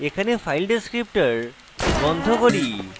এখানে file descriptor বন্ধ করি